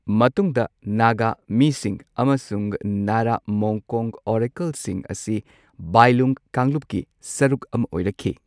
ꯃꯇꯨꯡꯗ ꯅꯥꯒꯥ, ꯃꯤꯁꯤꯡ ꯑꯃꯁꯨꯡ ꯅꯥꯔꯥ ꯃꯣꯡꯀꯣꯡ ꯑꯣꯔꯦꯀꯜꯁꯤꯡ ꯑꯁꯤ ꯕꯥꯏꯂꯨꯡ ꯀꯥꯡꯂꯨꯞꯀꯤ ꯁꯔꯨꯛ ꯑꯃ ꯑꯣꯏꯔꯛꯈꯤ꯫